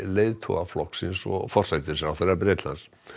leiðtoga flokksins og forsætisráðherra Bretlands